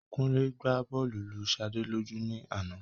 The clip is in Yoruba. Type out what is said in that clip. Kúnlé gba bọ́ọ̀lù lu Sade lójú ní àná